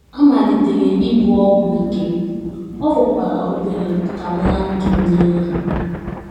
Amalitere m ibu ọgwụ ike, ọ fọkwara obere ka m laa ndụ m n’iyi.